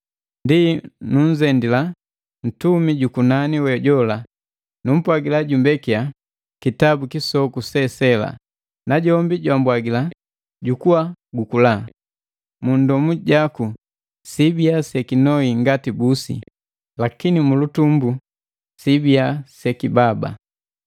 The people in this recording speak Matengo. Ndi, nunzendila ntumi jukunani we jola, numpwagila jumbekiya kitabu kisoku se sela. Najombi jwambwagila, “Jukua gukula. Mundomu jaku siibiya sekinoi ngati busi, lakini mu lutumbu sibiya sekibaba!”